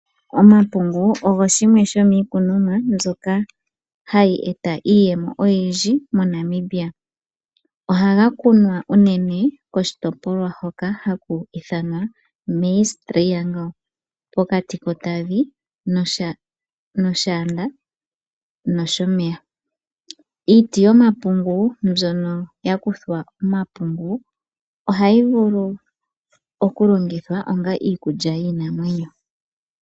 Omapungu ogo shimwe shomiikunomwa mbyoka hayi eta iiyemo oyindji moNamibia. Ohaga kunwa unene koshitopolwa hoka haku ithanwa Maize Triangle pokati kOtavi nOshaanda nOshomeya. Iiti yomapungu mbyono yakuthwa omapungu ohayi vulu okulongithwa onga iikulya yiinamwenyo.